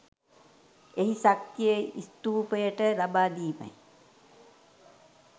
එහි ශක්තිය ස්තූපයට ලබා දීමයි.